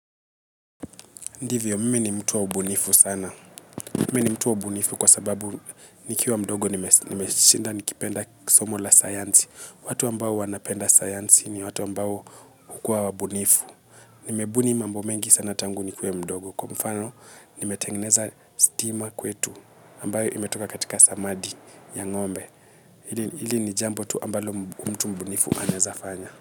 Ndivyo, mimi ni mtu wa ubunifu sana. Mimi ni mtu wa ubunifu kwa sababu nikiwa mdogo nimeshinda nikipenda somo la sayansi. Watu ambao wanapenda sayansi ni watu ambao hukuwa wa bunifu. Nimebuni mambo mengi sana tangu nikuwe mdogo. Kwa mfano, nimetengeneza stima kwetu ambayo imetoka katika samadhi ya ngombe. Hili ni jambo tu ambalo mtu mbunifu anaezafanya.